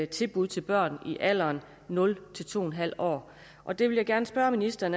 tilbud til børn i alderen nul to en halv år og der vil jeg gerne spørge ministeren